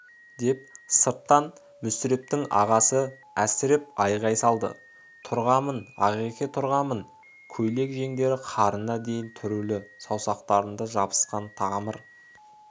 деп сырттан мүсірептің ағасы әсіреп айғай салды тұрғамын ағеке тұрғамын көйлек жеңдері қарына дейін түрулі саусақтарында жабысқан қамыр